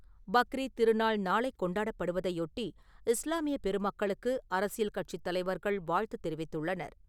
பக்ரீத் திருநாள் நாளை கொண்டாடப்படுவதை யொட்டி, இஸ்லாமிய பெருமக்களுக்கு அரசியல் கட்சித் தலைவர்கள் வாழ்த்து தெரிவித்துள்ளனர்.